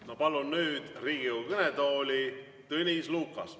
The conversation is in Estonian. Ma palun nüüd Riigikogu kõnetooli Tõnis Lukase.